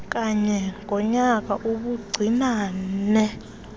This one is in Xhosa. kanye ngonyaka ubuncinane